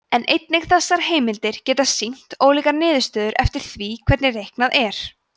en einnig þessar heimildir geta sýnt ólíkar niðurstöður eftir því hvernig reiknað er